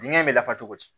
Dingɛ bɛ lafa cogo di